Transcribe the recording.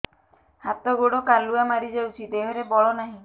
ହାତ ଗୋଡ଼ କାଲୁଆ ମାରି ଯାଉଛି ଦେହରେ ବଳ ନାହିଁ